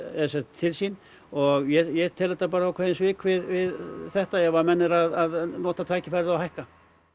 til sín og ég tel þetta ákveðin svik við þetta ef að menn eru að nota tækifærið og hækka